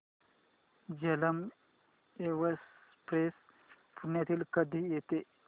Jhelum express पुण्याला कधी येते